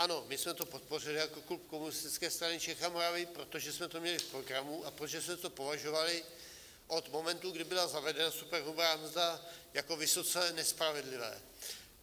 Ano, my jsme to podpořili jako klub Komunistické strany Čech a Moravy, protože jsme to měli v programu a protože jsme to považovali od momentu, kdy byla zavedena superhrubá mzda, jako vysoce nespravedlivé.